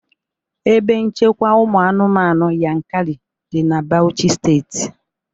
Ebe nchekwa ụmụ anụmanụ Yankari dị na Bauchi Steeti